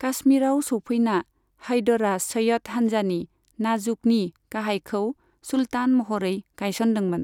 काश्मीराव सौफैना, हैदरा सैय्यद हान्जानि, नाजुकनि गाहायखौ सुल्तान महरै गायसनदोंमोन।